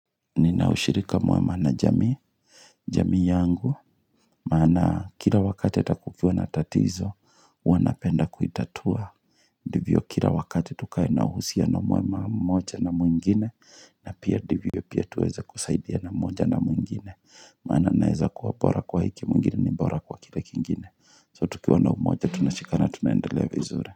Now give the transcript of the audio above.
Nina ushirika muema na jamii, jamii yangu, maana kila wakati hata kukiwa na tatizo, huwa napenda kuitatua. Ndivyo kila wakati tukae na uhusino muema mmoja na mwingine, na pia ndivyo pia tuweza kusaidiana moja na mwingine. Maana naeza kuwa bora kwa hiki mwingine ni bora kwa kile kingine. So tukiwa na umoja, tunashikana, tunaendelea vizuri.